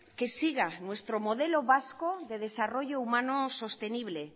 que siga nuestro modelo vasco de desarrollo humano sostenible